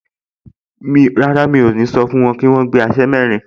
Rárá, mi ò ní sọ fún wọn pé kí wọ́n gbé aṣẹ́ mẹ́rin